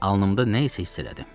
Alnımda nə isə hiss elədim.